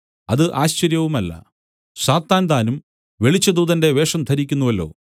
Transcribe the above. അത് ആശ്ചര്യവുമല്ല സാത്താൻ താനും വെളിച്ചദൂതന്റെ വേഷം ധരിക്കുന്നുവല്ലോ